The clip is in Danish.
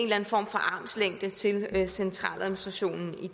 armslængde til centraladministrationen i